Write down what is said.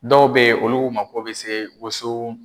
Dɔw be yen ,olu mako be se woson